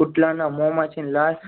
કુતરાના મોંમાંથી લાળ